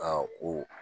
o